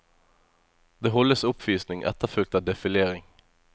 Det holdes oppvisning, etterfulgt av defilering.